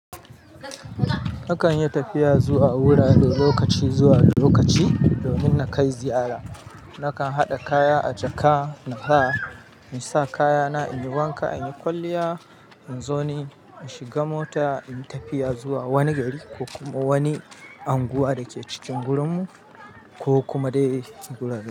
Akan yi tafiya zuwa wurare lokaci zuwa lokaci domin na kai ziyara. Nakan haɗa kaya a jaka na sa in sa kayana in yi wanka, in yi kwalliya in zo ne in shiga mota, in yi tafiya zuwa wani gari ko kuma wani unguwa da ke cikin gurinmu ko kuma dai cikin garin.